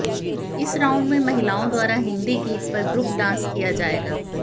इस राउंड में महिलाओं द्वारा हिंदी गीत पर ग्रुप डांस किया जाएगा